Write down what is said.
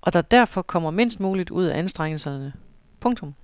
og der derfor kommer mindst muligt ud af anstrengelserne. punktum